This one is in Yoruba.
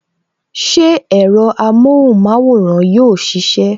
Ṣé ẹ̀rọ amóhùn maworan yóò sisẹ?